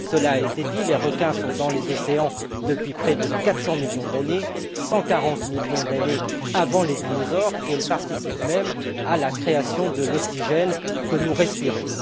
Cela a été dit les requins sont dans les océans depuis près de 400 millions d'années 140 millions d'années avant les dinosaures et ils participent même à la création de l'oxygène que nous respirons.